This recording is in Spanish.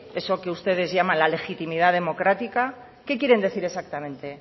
eso que ustedes llaman la legitimidad democrática qué quieren decir exactamente